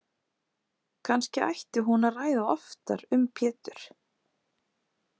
Kannski ætti hún að ræða oftar um Pétur.